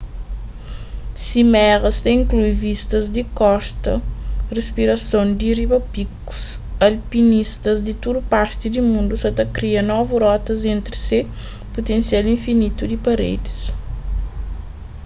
simeras ta inklui vistas di korta rispirason di riba pikus alpinistas di tudu parti di mundu sa ta kria novu rotas entri se putensial infinitu di paredis